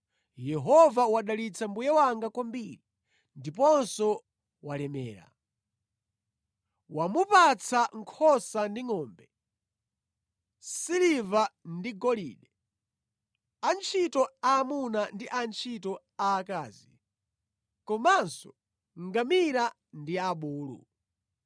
Yehova wadalitsa mbuye wanga kwambiri, ndiponso walemera. Wamupatsa nkhosa ndi ngʼombe, siliva ndi golide, antchito aamuna ndi antchito aakazi, komanso ngamira ndi abulu.